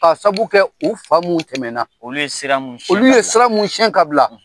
Ka sabu kɛ u fa minnu tɛmɛna, olu ye sira mun siɲɛ ka bila. Olu ye sira mun siɲɛ ka bila.